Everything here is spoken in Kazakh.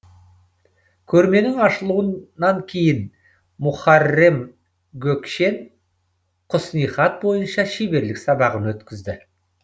көрменің ашылуынан кейін мухаррем гөкшен құснихат бойынша шеберлік сабағын өткізді